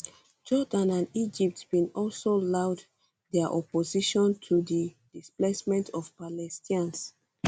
jordan and egypt bin also loud um dia opposition to di displacement of palestinians